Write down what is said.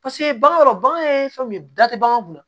Paseke bagan yɔrɔ bagan ye fɛn min ye da tɛ bagan kunna